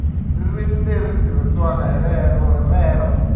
ririmi leri tirhisiwaka hi lero